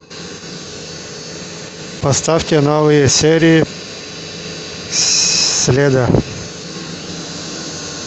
поставьте новые серии следа